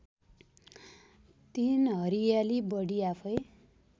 ३ हरियाली बढी आफैँ